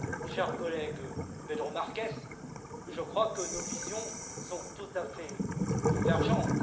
Cher collègue, Pedro Marques, je crois que nos visions sont tout à fait convergentes.